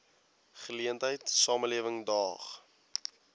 geleentheid samelewing daag